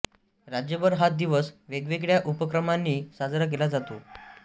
राज्यभर हा दिवस वेगवेगळ्या उपक्रमांनी साजरा केला जातो